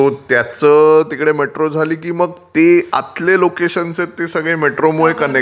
So त्याचं तिकडे metro झाली की मग ते आतले लोकेशन्स आहेत मेट्रोमुळे कनेक्ट होतील.